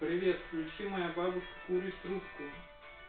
привет поищи всех моя бабушка курит трубку